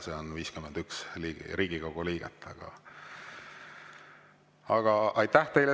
See on 51 Riigikogu liiget.